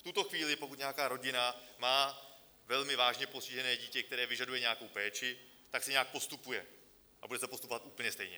V tuto chvíli, pokud nějaká rodina má velmi vážně postižené dítě, které vyžaduje nějakou péči, tak se nějak postupuje, a bude se postupovat úplně stejně.